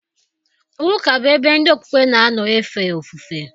Ụka bụ ebe ndị okpukpe na-anọ efe ofufe